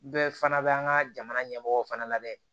Bɛɛ fana bɛ an ka jamana ɲɛmɔgɔ fana labɛn